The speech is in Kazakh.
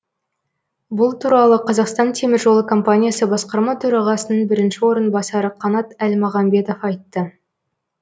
бұл туралы қазақстан темір жолы компаниясы басқарма төрағасының бірінші орынбасары қанат әлмағамбетов айтты